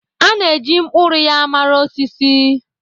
A na-eji mkpụrụ ya mara osisi.